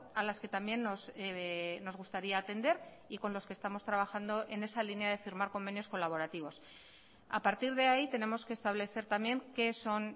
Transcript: a las que también nos gustaría atender y con los que estamos trabajando en esa línea de firmar convenios colaborativos a partir de ahí tenemos que establecer también qué son